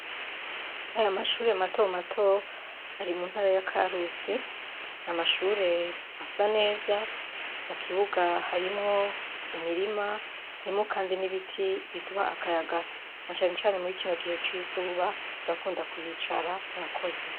Aya mashure matomato ari mu ntara ya Karusi. Amashure asa neza, Mu kibuga harimwo imirima. Harimwo kandi n'ibiti biduha akayaga. Na canecane muri iki gihe c'izuba turakunda kuhicara kubera akayaga. Murakoze.